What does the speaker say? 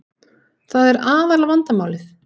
Það er aðal vandamálið